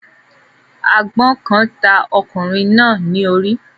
àgbọn kan ta okunrin na ní ori